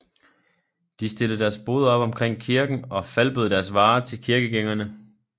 De stillede deres boder op omkring kirken og falbød deres varer til kirkegængerne